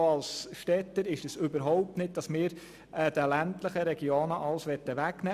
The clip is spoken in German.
Unser Ziel als Städter ist es überhaupt nicht, den ländlichen Regionen alles wegzunehmen.